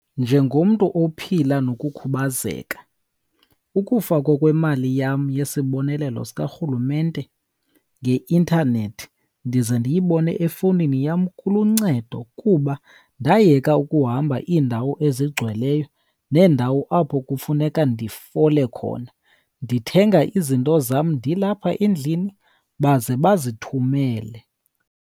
Njengomntu ophila nokukhubazeka ukufakwa kwemali yam yesibonelelo sikarhulumente ngeintanethi ndize ndiyibone efowunini yam kuluncedo, kuba ndayeka ukuhamba iindawo ezigcweleyo neendawo apho kufuneka ndifole khona. Ndithenga izinto zam ndilapha endlini baze bazithumele.